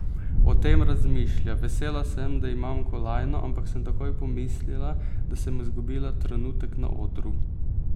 O tem razmišlja: "Vesela sem, da imam kolajno, ampak sem takoj pomislila, da sem izgubila trenutek na odru.